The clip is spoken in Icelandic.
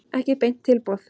Ekki beint tilboð.